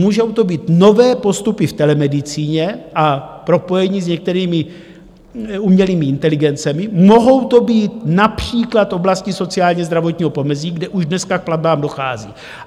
Můžou to být nové postupy v telemedicíně a propojení s některými umělými inteligencemi, mohou to být například oblasti sociálně-zdravotního pomezí, kde už dneska k platbám dochází.